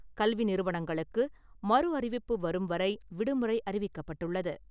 கல்வி நிறுவனங்களுக்கு மறு அறிவிப்பு வரும் வரை விடுமுறை அறிவிக்கப்பட்டுள்ளது.